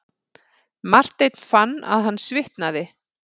Marteinn fann að hann svitnaði.